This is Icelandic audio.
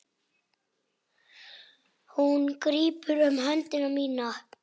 Hún grípur um hönd mína.